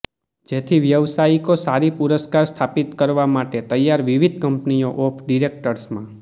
તેથી વ્યાવસાયિકો સારી પુરસ્કાર સ્થાપિત કરવા માટે તૈયાર વિવિધ કંપનીઓ ઓફ ડિરેક્ટર્સમાં